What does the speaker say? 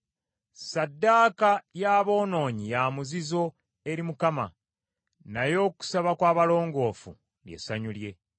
Ssaddaaka y’aboonoonyi ya muzizo eri Mukama , naye okusaba kw’abalongoofu lye ssanyu lye.